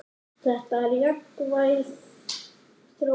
Þetta er jákvæð þróun.